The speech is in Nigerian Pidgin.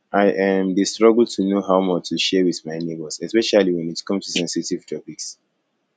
i um dey struggle to know how much to share with my neighbors especially when it come to sensitive topics